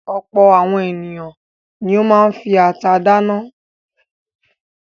Ọ̀pọ̀ àwọn ènìyàn ni ó máa ń fi ata dáná.